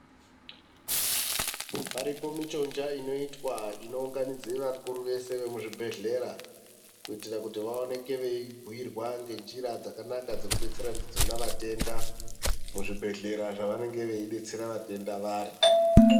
Paripo michonja inoitwa inounganidze vakuru vese vemuzvibhedhlera kuitira kuti vaoneke veibhuirwa ngenjira dzakanaka dzekudetsera ndidzona vatenda muzvibhedhlera zvevanenge veidetsera vatenda vari.